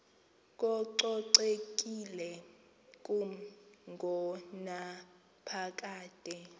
kococekile kumi ngonaphakade